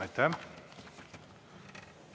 Aitäh!